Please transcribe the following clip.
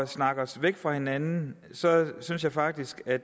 snakker os væk fra hinanden synes jeg faktisk at